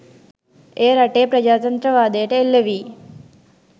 එය රටේ ප්‍රජාතන්ත්‍රවාදයට එල්ල වී